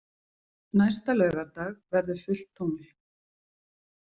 Næsta laugardag verður fullt tungl.